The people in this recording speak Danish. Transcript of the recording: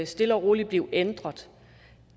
stille og roligt blive ændret